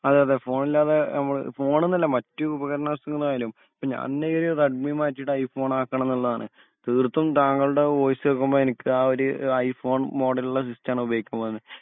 അതെയതെ ഫോണില്ലാതെ നമ്മൾ ഫോൺ എന്നല്ല മറ്റ് ഉപകാരണങ്ങളായാലും പിന്നെ അന്ന് റെഡ്‌മി മാറ്റിയിട്ട് ഐഫോൺ ആകണം എന്നുള്ളതാണ് തീർത്തും താങ്കളുടെ വോയിസ് കേൾക്കുമ്പോൾ എനിക്ക് ആ ഒരു ഐഫോൺ മോഡൽ ഉള്ള ഉപയോഗിക്കാൻ